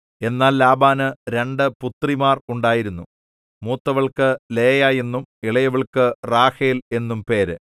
എന്നാൽ ലാബാന് രണ്ടു പുത്രിമാർ ഉണ്ടായിരുന്നു മൂത്തവൾക്കു ലേയാ എന്നും ഇളയവൾക്കു റാഹേൽ എന്നും പേര്